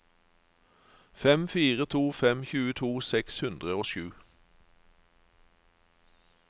fem fire to fem tjueto seks hundre og sju